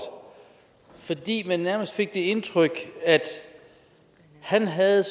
fordi man nærmest fik det indtryk at han havde